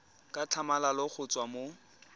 ka tlhamalalo go tswa mo